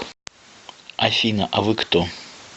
афина а вы кто